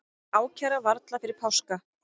Ákæra varla fyrir páska